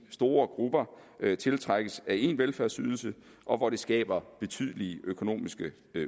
store grupper tiltrækkes af en velfærdsydelse og hvor det skaber betydelige økonomiske